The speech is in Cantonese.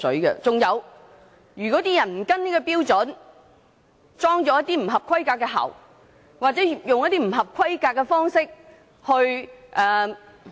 如果有人沒有跟循標準，安裝一些不合規格的喉管或以不合規格的方式......